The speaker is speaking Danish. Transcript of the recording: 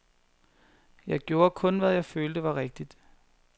Jeg gjorde kun, hvad jeg følte var rigtigt.